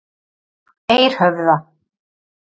Eirhöfða